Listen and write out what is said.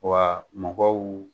Waa mɔgɔw